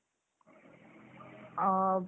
अ